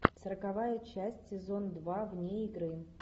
сороковая часть сезон два вне игры